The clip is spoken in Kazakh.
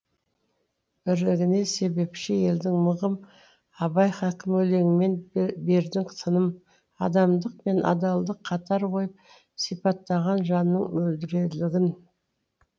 бірлігіне себепші елдің мығым абай хакім өлеңмен бердің тыным адамдық пен адалдық қатар қойып сипаттаған жаның мөлдірлігін